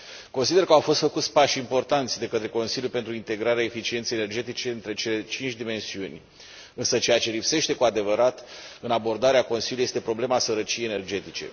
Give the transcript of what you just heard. Consider că au fost făcuți pași importanți de către Consiliu pentru integrarea eficienței energetice între cele cinci dimensiuni, însă ceea ce lipsește, cu adevărat, în abordarea Consiliului este problema sărăciei energetice.